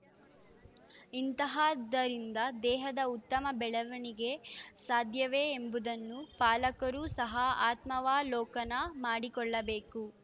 ಇಂತಹದ್ದರಿಂದ ದೇಹದ ಉತ್ತಮ ಬೆಳವಣಿಗೆ ಸಾಧ್ಯವೇ ಎಂಬುದನ್ನು ಪಾಲಕರೂ ಸಹ ಆತ್ಮಾವಲೋಕನ ಮಾಡಿಕೊಳ್ಳಬೇಕು